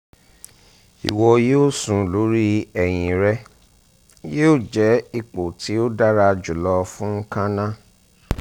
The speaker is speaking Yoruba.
iwọ yoo sùn lori ẹhin rẹ yoo jẹ ipo ti o dara julọ fun kanna